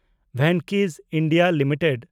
Venky's (India) limited